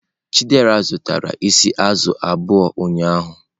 Chidera zụtara isi azụ̀ abụọ ụnyahụ.